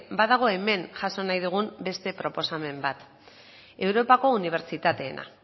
badago hemen jaso nahi dugun beste proposamen bat europako unibertsitateena